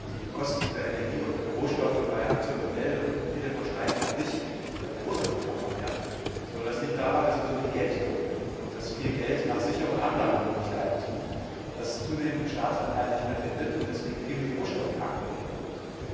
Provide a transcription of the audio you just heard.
Die Kosten für Rohstoffe bei AkzoNobel und Unilever steigen auch nicht, weil die Rohstoffe knapper werden, sondern das liegt daran, dass wir soviel Geld drucken und dass viel Geld nach sicheren Anlagemöglichkeiten sucht, die es zunehmend in Staatsanleihen nicht mehr findet, weswegen viel in die Rohstoffmärkte gelenkt wird.